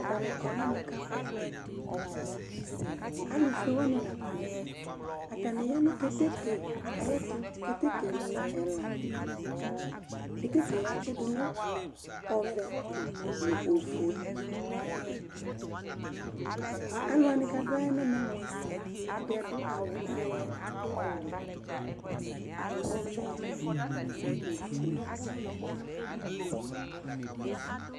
Atanɩ kɔ nɛmɛ kabʋAlʋ fue wanɩ la kɔ nɛmɛAtanɩ ya nʋ keteke ayɛtʋ; keteke mʋ ɛlaKeteke yɛ atsɩdʋ nʋ: ɔvɛ nʋ ofueAlʋ wanɩ kadʋɛ nɛmɛ mʋa, ɛdɩ adʋ awʋ ɔɣlɔmɔ, ɔwɛ, ɔvɛ nʋ ofue